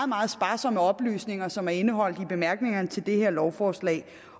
meget sparsomme oplysninger som er indeholdt i bemærkningerne til det her lovforslag